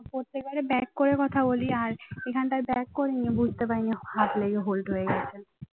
প্রত্যেকবারে back করে কথা বলি আর এখানকার back করিনি বুঝতে পারিনি হাত লেগে hold হয়ে গেছে